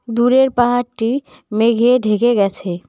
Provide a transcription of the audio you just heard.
দূরের পাহাড়টি মেঘে ঢেকে গেছে।